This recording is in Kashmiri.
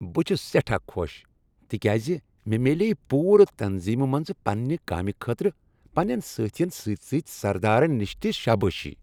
بہٕ چھس سیٹھاہ خوش تِکیازِ مےٚ میلیے پورٕ تنظیمِہ منٛز پننِہ کامِہ خٲطرٕ پننین سٲتھین سۭتۍ سۭتۍ سردارن نش تِہ شابٲشی ۔